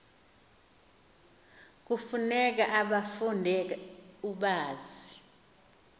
kufuneka ubafunde ubazi